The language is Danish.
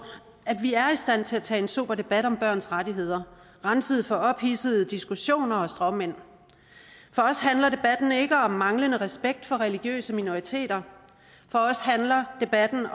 at vi er i stand til at tage en sober debat om børns rettigheder renset for ophidsede diskussioner og stråmænd for os handler debatten ikke om manglende respekt for religiøse minoriteter for os handler debatten